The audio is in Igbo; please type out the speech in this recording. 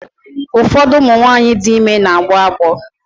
Ụfọdụ ụmụ nwaanyị dị ime na-agbọ agbọ.